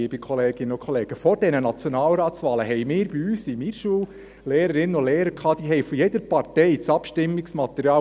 Liebe Kolleginnen und Kollegen, vor diesen Nationalratswahlen gab es bei uns, in meiner Schule, Lehrerinnen und Lehrer, die das Abstimmungsmaterial jeder Partei aufgehängt hatten.